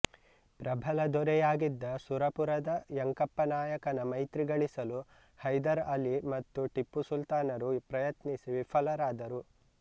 ಪ್ರಬಲ ದೊರೆಯಾಗಿದ್ದ ಸುರಪುರದ ಯಂಕಪ್ಪನಾಯಕನ ಮೈತ್ರಿ ಗಳಿಸಲು ಹೈದರ್ ಅಲಿ ಮತ್ತು ಟಿಪ್ಪುಸುಲ್ತಾನರು ಪ್ರಯತ್ನಿಸಿ ವಿಫಲರಾದರು